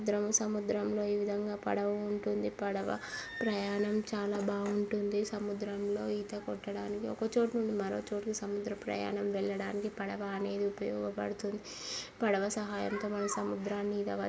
సముద్రం-సముద్రం లో ఈ విధముగా పడవ ఉంటుంది. పడవ ప్రయాణం చాలా బాగుంటుంది. సముద్రం లో ఈత కొట్టడానికి ఒక చోటు నుంచి మరో చోటు కి సముద్ర ప్రయాణం వెళ్ళడానికి పడవ అనేది ఉపయోగపడ్తుంది. సహాయంతో మనం సముద్రాన్ని ఈద--